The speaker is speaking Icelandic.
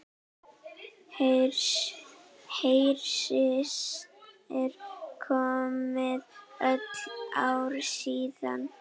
Hersir: Komið öll ár síðan?